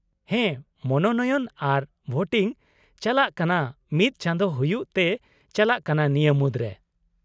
ᱦᱮᱸ , ᱢᱚᱱᱳᱱᱚᱭᱚᱱ ᱟᱨ ᱵᱷᱳᱴᱤᱝ ᱪᱟᱞᱟᱜ ᱠᱟᱱᱟ ᱢᱤᱫ ᱪᱟᱸᱫᱳ ᱦᱩᱭᱩᱜ ᱛᱮ ᱪᱟᱞᱟᱜ ᱠᱟᱱᱟ ᱱᱤᱭᱟ. ᱢᱩᱫᱨᱮ ᱾